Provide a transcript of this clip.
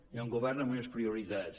hi ha un govern amb unes prioritats